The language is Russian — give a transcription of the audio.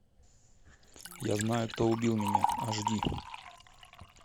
я знаю кто убил меня аш ди